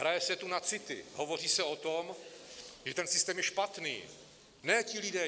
Hraje se tu na city, hovoří se o tom, že ten systém je špatný, ne ti lidé.